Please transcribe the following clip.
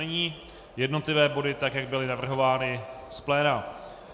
Nyní jednotlivé body, tak jak byly navrhovány z pléna.